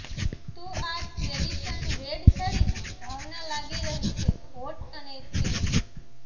તો આ tradition red સાડીમાં ભાવના લાગી રહી છે હોટ અને સેક્સી